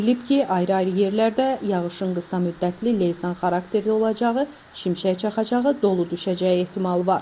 Bildirilib ki, ayrı-ayrı yerlərdə yağışın qısa müddətli leysan xarakterli olacağı, şimşək çaxacağı, dolu düşəcəyi ehtimalı var.